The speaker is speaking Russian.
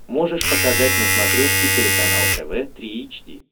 можешь показать на смотрешке телеканал тв три эйч ди